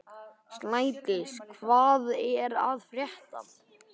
Snædís, hvað er að frétta?